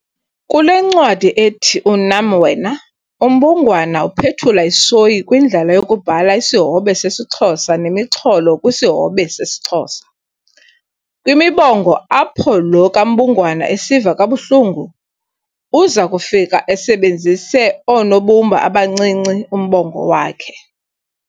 Kule ncwadi ethi "Unam Wena", uMbungwana uphethula isoyi kwindlela yokubhala isihobe sesiXhosa nemixholo kwisihobe sesiXhosa. Kwimibongo apho lo kaMbungwana esiva kabuhlungu, uza kufika esebenzise oonobumba abancinci umbongo wakhe.